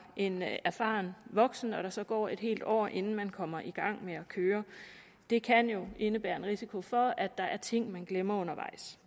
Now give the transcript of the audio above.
en erfaren voksen og der så går et helt år inden man kommer i gang med at køre det kan jo indebære en risiko for at der er ting man glemmer undervejs